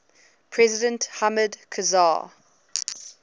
president hamid karzai